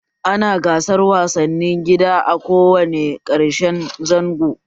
Ana gasar wasanni gida a ko wane ƙarshen zango